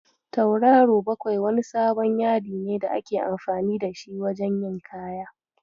Tauraro bakwai wani sabon yadine da ake amfani da shi wajen yin kaya.